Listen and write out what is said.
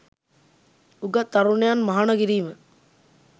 උගත් තරුණයන් මහණ කිරීම